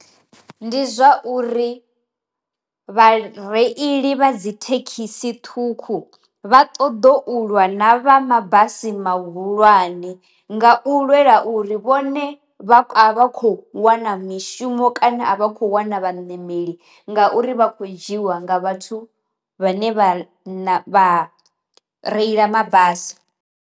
Ndi zwa uri, vha reili vha dzi thekhisi ṱhukhu vha ṱoḓo ulwa na vha mabasi ma hulwane nga u lwela uri vhu vhone vha vha kho wana mishumo kana a vha khou wana vha nemeli ngauri vha kho dzhiwa nga vhathu vhane vha reila mabasi.